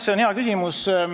See on hea küsimus.